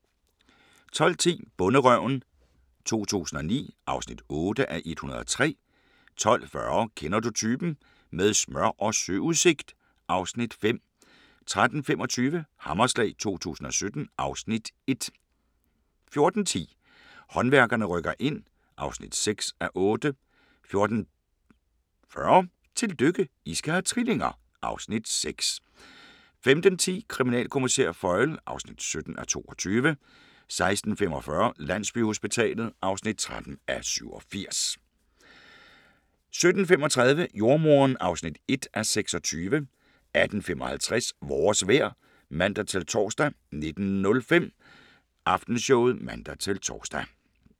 12:10: Bonderøven 2009 (8:103) 12:40: Kender du typen? - med smør og søudsigt (Afs. 5) 13:25: Hammerslag 2017 (Afs. 1) 14:10: Håndværkerne rykker ind (6:8) 14:40: Tillykke, I skal have trillinger! (Afs. 6) 15:10: Kriminalkommissær Foyle (17:22) 16:45: Landsbyhospitalet (13:87) 17:35: Jordemoderen (1:26) 18:55: Vores vejr (man-tor) 19:05: Aftenshowet (man-tor)